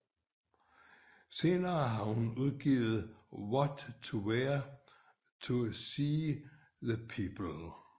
Senest har hun udgivet What to Wear to see the Pope